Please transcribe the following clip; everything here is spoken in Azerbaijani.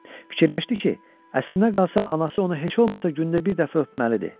Fikirləşdi ki, əslinə qalsa anası onu heç olmasa gündə bir dəfə öpməliydi.